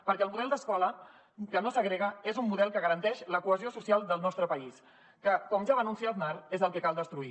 perquè el model d’escola que no segrega és un model que garanteix la cohesió social del nostre país que com ja va anunciar aznar és el que cal destruir